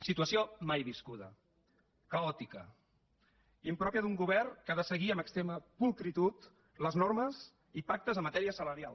situació mai viscuda caòtica impròpia d’un govern que ha de seguir amb extrema pulcritud les normes i pactes en matèria salarial